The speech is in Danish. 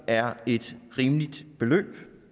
er et rimeligt beløb